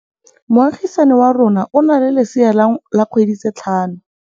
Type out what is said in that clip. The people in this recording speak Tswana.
Moagisane wa rona o na le lesea la dikgwedi tse tlhano.